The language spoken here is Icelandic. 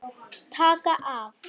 Taka af.